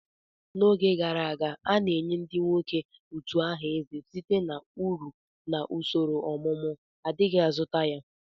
N'oge gara aga, a na-enye ndị nwoke utu aha eze site na uru na usoro ọmụmụ, adighi azụta ya.